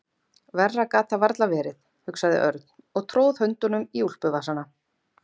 Verra gat það varla verið, hugsaði Örn og tróð höndunum í úlpuvasana.